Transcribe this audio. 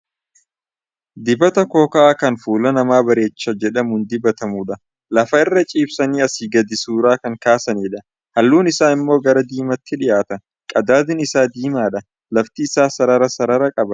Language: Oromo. Dibata kooka'aa kan fuula namaa bareecha jedhamuun dibatamudha. Lafa irra ciibsanii asii gadii suuraa kan kaasanidha. Halluun isaa immoo gara diimaatti dhiyaata. Qadaadni isaa diimaadha. Lafti isaa sarara sarara qaba.